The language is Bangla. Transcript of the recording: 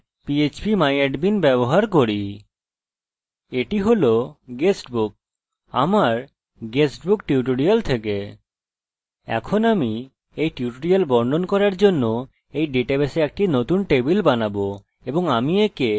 এখন আমি এই টিউটোরিয়াল বর্ণন করার জন্য এই ডাটাবেসে একটি নতুন টেবিল বানাবো এবং আমি একে people বলবো